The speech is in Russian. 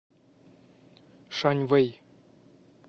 шаньвэй